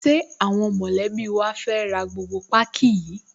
Ṣé àwọn mọ̀lẹ́bí wa fẹ́ ra gbogbo páákí yìí?